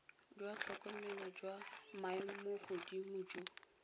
jwa tlhokomelo jwa maemogodimo jo